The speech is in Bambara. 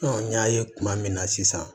n y'a ye kuma min na sisan